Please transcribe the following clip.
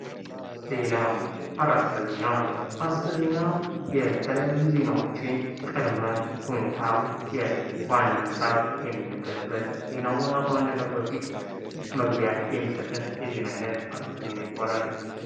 ዜና አረስተ ዜና አረስተ ዜና የተለያዩ ዜናዎችን ቅድመ ሁኔታ ዋና ሃሳብ የሚነገርበት ዜናው ዋናው ከመጀመሩ በፊት መግቢያ የሚሰጠን ዜና አረስተ ዜና ይባላል::